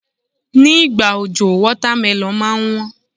Ní ìgbà òjò, wọ́támélọ̀n máa ń wón.